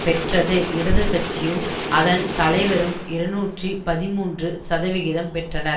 பெற்றது இடது கட்சியும் அதன் தலைவரும் இருநூற்றி பதிமூன்று சதவிகிதம் பெற்றனர்